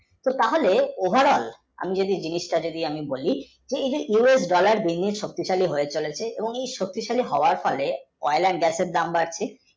কী কারণে overall যদি বলি এই যে US dollar শক্তিশালী হয়ে চলেছে এই শক্তিশালী হওয়ার ফলে oil, and, gas এর দাম বাড়ছে